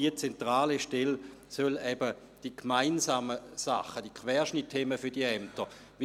Die zentrale Stelle soll eben die gemeinsamen Dinge, die Querschnittsthemen, für die Ämter koordinieren.